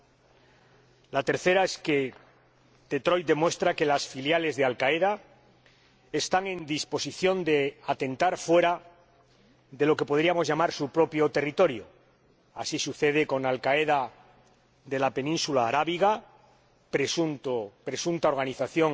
En tercer lugar, Detroit demuestra que las filiales de Al Qaeda están en disposición de atentar fuera de lo que podríamos llamar su propio territorio. Así sucede con Al Qaeda de la Península Arábiga o